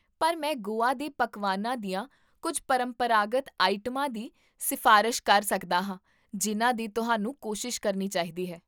ਪਰ ਮੈਂ ਗੋਆ ਦੇ ਪਕਵਾਨਾਂ ਦੀਆਂ ਕੁੱਝ ਪਰੰਪਰਾਗਤ ਆਈਟਮਾਂ ਦੀ ਸਿਫ਼ਾਰਸ਼ ਕਰ ਸਕਦਾ ਹਾਂ ਜਿਨ੍ਹਾਂ ਦੀ ਤੁਹਾਨੂੰ ਕੋਸ਼ਿਸ਼ ਕਰਨੀ ਚਾਹੀਦੀ ਹੈ